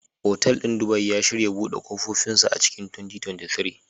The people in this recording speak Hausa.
Otal ɗin Dubai, ya shirya buɗe ƙofofinsa a cikin 2023.